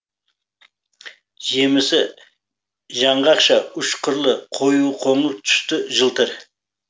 жемісі жаңғақша үш қырлы қою қоңыр түсті жылтыр